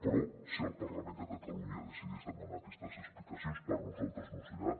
però si el parlament de catalunya decidís demanar aquestes explicacions per nosaltres no serà